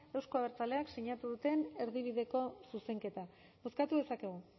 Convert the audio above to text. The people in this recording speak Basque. euzko abertzaleak sinatu duten erdibideko zuzenketa bozkatu dezakegu